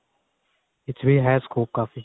ਇਸ ਚ ਵੀ ਹੈ scope ਕਾਫੀ